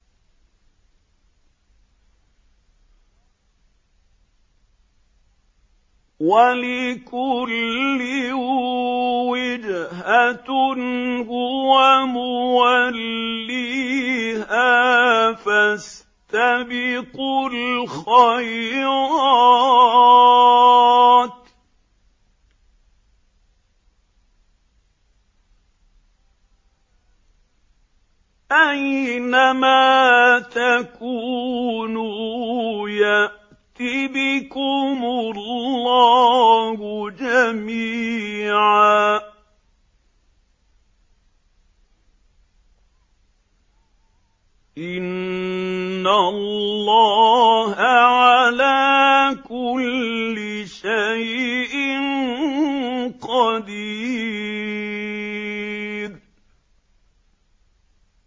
وَلِكُلٍّ وِجْهَةٌ هُوَ مُوَلِّيهَا ۖ فَاسْتَبِقُوا الْخَيْرَاتِ ۚ أَيْنَ مَا تَكُونُوا يَأْتِ بِكُمُ اللَّهُ جَمِيعًا ۚ إِنَّ اللَّهَ عَلَىٰ كُلِّ شَيْءٍ قَدِيرٌ